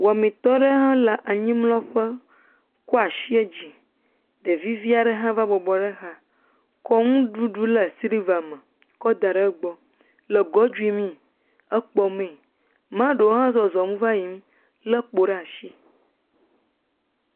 Wamitɔ aɖe hã le anyimlɔƒe kɔ asi yio dzi ɖevi vi aɖe hã va bɔbɔ ɖe exa kɔ nuɖuɖu le siliva me kɔ da ɖe egbɔ le godui mi, ekpɔmee maɖewo hã le zɔzɔm va le yiyim lé kpo ɖe asi.